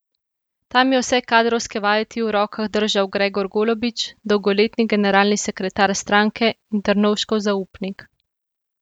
Tam je vse kadrovske vajeti v rokah držal Gregor Golobič, dolgoletni generalni sekretar stranke in Drnovškov zaupnik.